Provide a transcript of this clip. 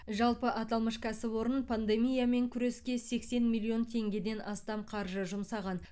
жалпы аталмыш кәсіпорын пандемиямен күреске сексен миллион теңгеден астам қаржы жұмсаған